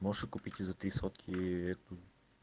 можете купить и за три сотки и это